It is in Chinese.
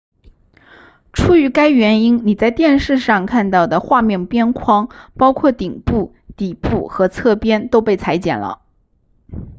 出于该原因你在电视上看到的画面边框包括顶部底部和侧边都被裁剪了